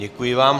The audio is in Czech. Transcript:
Děkuji vám.